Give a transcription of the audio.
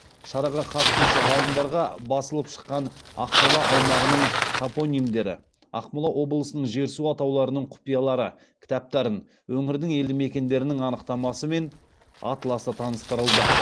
шараға қатысушы ғалымдарға басылып шыққан ақмола аймағының топонимдері ақмола облысының жер су атауларының құпиялары кітаптарын өңірдің елді мекендерінің анықтамасы мен атласы таныстырылды